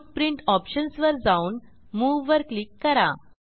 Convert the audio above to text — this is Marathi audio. फुटप्रिंट ऑप्शन्स वर जाऊन Moveवर क्लिक करा